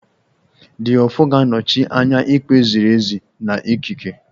The Ofo ga-anọchi anya ikpe ziri ezi na ikike